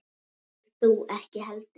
Og þú ekki heldur.